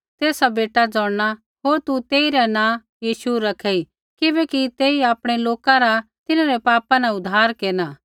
तेसा बेटा ज़ोंणना होर तू तेइरा नाँ यीशु रखेई किबैकि तेई आपणै लोका रा तिन्हरै पापा न उद्धार केरना